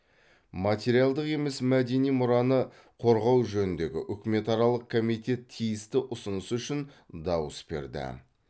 материалдық емес мәдени мұраны қорғау жөніндегі үкіметаралық комитет тиісті ұсыныс үшін дауыс берді